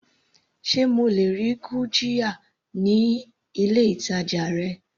Sé mo lè rí gurjiya ní ilé ìtàjà rẹ.